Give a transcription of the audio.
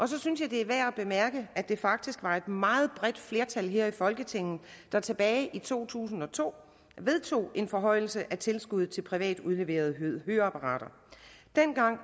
så synes jeg det er værd at bemærke at det faktisk var et meget bredt flertal her i folketinget der tilbage i to tusind og to vedtog en forhøjelse af tilskuddet til privat udleverede høreapparater dengang